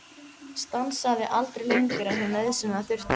Stansaði aldrei lengur en hún nauðsynlega þurfti.